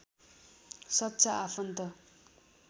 सच्चा आफन्त